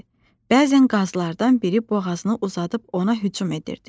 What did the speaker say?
Bəzən qazlardan biri boğazını uzadıb ona hücum edirdi.